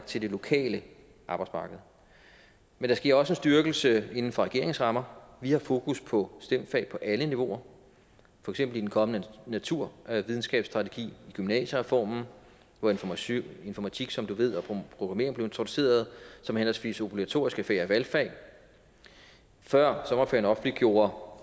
til det lokale arbejdsmarked men der sker også en styrkelse inden for regeringens rammer vi har fokus på stem fag på alle niveauer for eksempel i den kommende naturvidenskabsstrategi i gymnasiereformen hvor informatik informatik som du ved og programmering blev introduceret som henholdsvis obligatoriske fag og valgfag før sommerferien offentliggjorde